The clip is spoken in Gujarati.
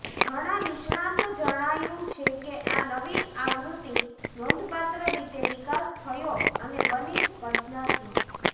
ઘણા નિષ્ણાતો જણાયું છે કે આ નવી આવૃત્તિ નોંધપાત્ર રીતે વિકાસ થયો અને બની સ્પર્ધાત્મક